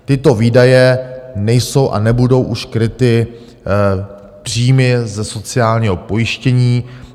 Tyto výdaje nejsou a nebudou už kryty příjmy ze sociálního pojištění.